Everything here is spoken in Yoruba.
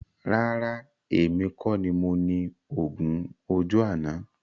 Rárá, èmi kọ ní mo ni oògùn ojú náà